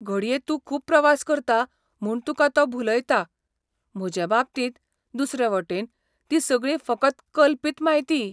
घडये तूं खूब प्रवास करता म्हूण तुका तो भुलयता, म्हजे बाबतींत, दुसरे वटेन, ती सगळी फकत कल्पीत म्हायती.